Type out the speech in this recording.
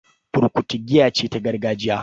Burkutu giya ce ta gargajiya